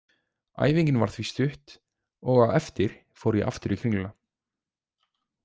Æfingin var því stutt og á eftir fór ég aftur í Kringluna.